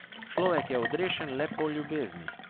Človek je odrešen le po ljubezni ...